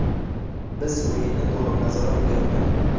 Biz o‘yinni to‘liq nazorat qilayotgandik.